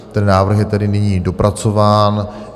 Ten návrh je tedy nyní dopracován.